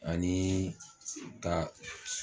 Anii ka